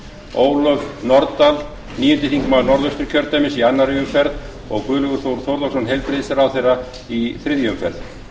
ólöf nordal níundi þingmaður norðausturkjördæmis í annarri umferð og guðlaugur þór þórðarson heilbrigðisráðherra í þriðju umferð